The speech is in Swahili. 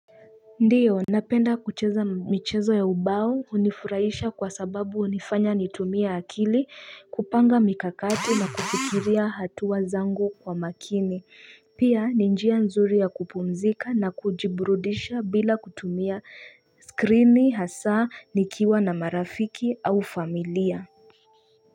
Ndiyo, napenda kucheza michezo ya ubao hunifurahisha kwa sababu hunifanya nitumie akili kupanga mikakati na kufikiria hatua zangu kwa makini. Pia ni njia nzuri ya kupumzika na kujiburudisha bila kutumia skrini hasa nikiwa na marafiki au familia.